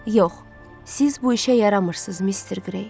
Yox, siz bu işə yaramırsınız, Mister Qrey.